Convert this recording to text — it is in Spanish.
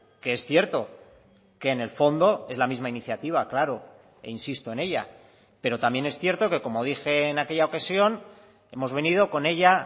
que es cierto que en el fondo es la misma iniciativa claro e insisto en ella pero también es cierto que como dije en aquella ocasión hemos venido con ella